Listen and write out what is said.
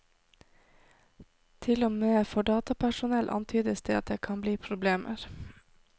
Til og med for datapersonell antydes det at det kan bli problemer.